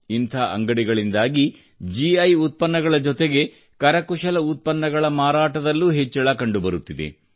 ಇಂಥ ಅಂಗಡಿಗಳಿಂದಾಗಿ ಗಿ ಉತ್ಪನ್ನಗಳ ಜೊತೆಗೆ ಕರಕುಶಲ ಉತ್ಪನ್ನಗಳ ಮಾರಾಟದಲ್ಲೂ ಹೆಚ್ಚಳ ಕಂಡುಬರುತ್ತಿದೆ